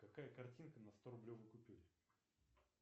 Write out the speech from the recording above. какая картинка на сторублевой купюре